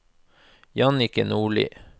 Jannicke Nordli